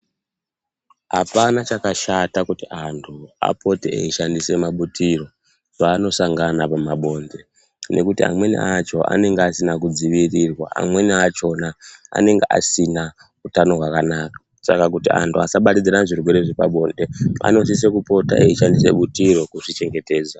Hapana chakashata kuti antu apote eishandisa mabutiro paanosangana pamabonde nekuti amweni acho anenge asina kudziwirira amweni achona anenge asina hutano hwakanaka saka kuti anhu asabatanidzane chirwere chepabonde anopote kusise eishandisa butiro kuzvichengetedza.